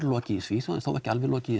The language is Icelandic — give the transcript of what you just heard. lokið í Svíþjóð ekki alveg lokið